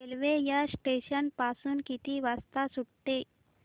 railway या station पासून किती वाजता सुटते